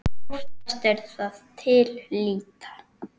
Oftast er það til lýta.